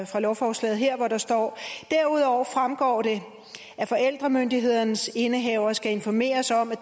fra lovforslaget her hvor der står derudover fremgår det at forældremyndighedens indehaver skal informeres om